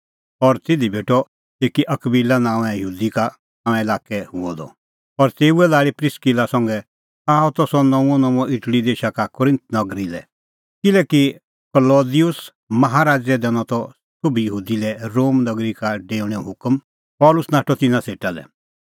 और तिधी भेटअ एकी अकबिला नांओंए यहूदी का तेऊए ज़ल्म त पुंतुस नांओंए लाक्कै हुअ द और तेऊए लाल़ी प्रिस्किला संघै आअ त सह नऊंअनऊंअ इटल़ी देशा का कुरिन्थ नगरी लै किल्हैकि क्लौदिउस माहा राज़ै दैनअ त सोभी यहूदी लै रोम नगरी का डेऊणेओ हुकम पल़सी नाठअ तिन्नां सेटा लै